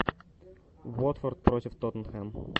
уотфорд против тоттенхэм